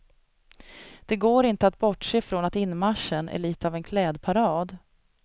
Det går inte att bortse från att inmarschen är lite av en klädparad.